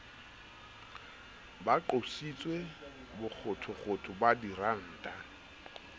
ba qositse bokgothokgotho ba diranta